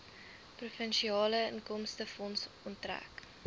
provinsiale inkomstefonds onttrek